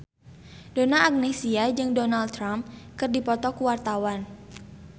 Donna Agnesia jeung Donald Trump keur dipoto ku wartawan